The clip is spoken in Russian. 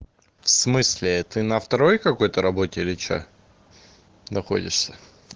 в смысле ты на второй какой-то работе или что находишься